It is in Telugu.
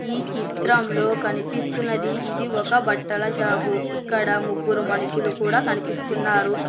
ఈ చిత్రంలో కనిపిస్తున్నది ఇది ఒక బట్టల షాపు ఇక్కడ ముగ్గురు మనుషులు కూడా కనిపిస్తున్నారు.